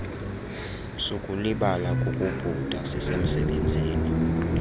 sukulibala kukubhuda sisemsebenzini